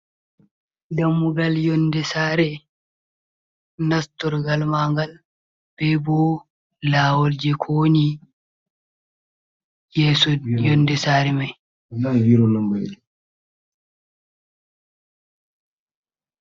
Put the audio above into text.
Dammugal yonde sare, nastorgal man gal, be bo lawol je kowoni yeeso yonde sare mai.